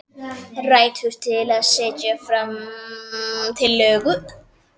Réttur til að setja fram tillögu.